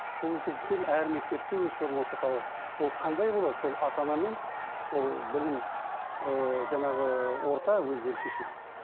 сол себептен әр мектепте өз формасы қалады ол қандай болады сол ата анамен сол білім ііі жаңағы орта өздері шешеді